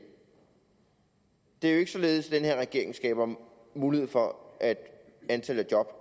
det er jo ikke således at den her regering skaber mulighed for at antallet af job